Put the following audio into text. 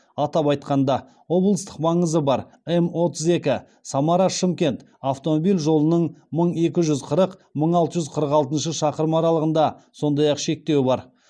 атап айтқанда облыстық маңызы бар ем отыз екі самара шымкент автомобиль жолының мың екі жүз қырық мың алты жүз қырық алтыншы шақырым аралығында сондай ақ шектеу бар